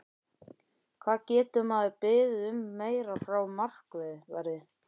Hvað getur maður beðið um meira frá markverði?